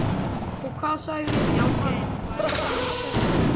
Og hvað sagði hann? spurði Gerður æst.